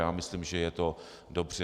Já myslím, že je to dobře.